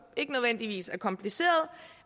ikke nødvendigvis er kompliceret